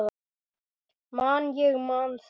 Man ég man þig